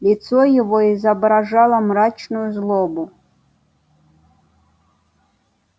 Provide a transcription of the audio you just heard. лицо его изображало мрачную злобу